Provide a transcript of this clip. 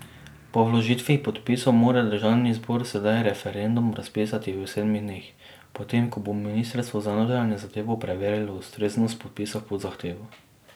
Po vložitvi podpisov mora državni zbor sedaj referendum razpisati v sedmih dneh, potem ko bo ministrstvo za notranje zadeve preverilo ustreznost podpisov pod zahtevo.